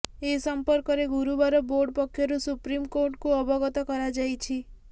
ଏ ସମ୍ପର୍କରେ ଗୁରୁବାର ବୋର୍ଡ ପକ୍ଷରୁ ସୁପ୍ରିମକୋର୍ଟଙ୍କୁ ଅବଗତ କରାଯାଇଛି